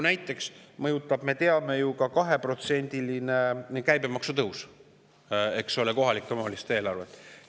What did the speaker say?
Näiteks mõjutab, me ju teame, ka 2%‑line käibemaksu tõus kohalike omavalitsuste eelarvet.